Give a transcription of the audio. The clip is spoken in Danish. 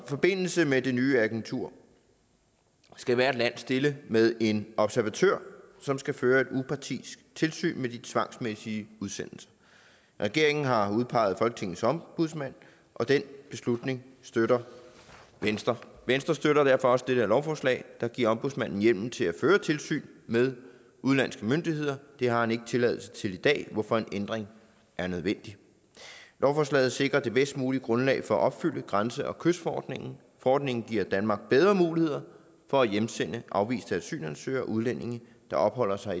forbindelse med det nye agentur skal hvert land stille med en observatør som skal føre et upartisk tilsyn med de tvangsmæssige udsendelser regeringen har udpeget folketingets ombudsmand og den beslutning støtter venstre venstre støtter derfor også dette lovforslag der giver ombudsmanden hjemmel til at føre tilsyn med udenlandske myndigheder det har han ikke tilladelse til i dag hvorfor en ændring er nødvendig lovforslaget sikrer det bedst mulige grundlag for at opfylde grænse og kystforordningen forordningen giver danmark bedre muligheder for at hjemsende afviste asylansøgere og udlændinge der opholder sig